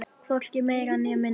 Hvorki meira né minna!